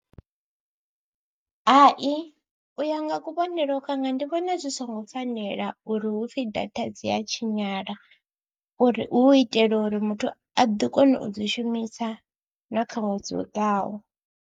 Hai u ya nga kuvhonele kwanga ndi vhona zwi songo fanela uri hu pfhi data dzi a tshinyala, uri hu itela uri muthu a ḓi kona u dzi shumisa na kha ṅwedzi u ḓaho.